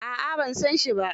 A'a ban san shi ba.